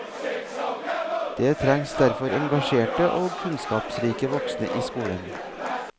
Det trengs derfor engasjerte og kunnskapsrike voksne i skolen.